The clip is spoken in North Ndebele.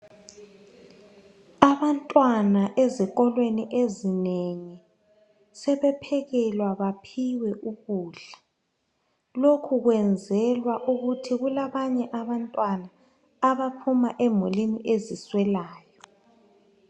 Abantwana ezikolweni ezinengi sebephekelwa baphiwe ukudla. Lokhu kwenzelwa ukuthi kulabanye abantwana abaphuma emulini ezi swelayo